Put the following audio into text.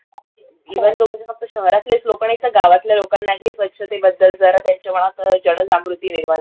even दो म्हणजे फक्त शहरतलेच लोकं नाईतर गावातलय लोकांनाही स्वच्छतेबद्दल जरा त्यांच्या मनात जनजागृती निर्माण झाली